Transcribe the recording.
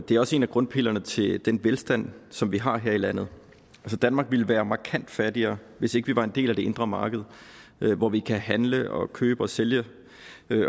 det er også en af grundpillerne til den velstand som vi har her i landet danmark ville være markant fattigere hvis ikke vi var en del af det indre marked hvor vi kan handle og købe og sælge